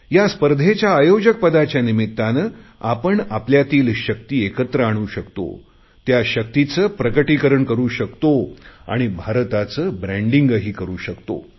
या स्पर्धेच्या आयोजकपदाच्या निमित्ताने आपण आपल्यातील शक्ती एकत्र आणू शकतो त्या शक्तीचे प्रकटीकरण करु शकतो आणि भारताचे ब्रँडिंग ही करु शकतो